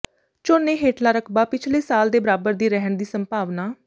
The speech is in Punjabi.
ਝੋਨੇ ਹੇਠਲਾ ਰਕਬਾ ਪਿਛਲੇ ਸਾਲ ਦੇ ਬਰਾਬਰ ਹੀ ਰਹਿਣ ਦੀ ਸੰਭਾਵਨਾ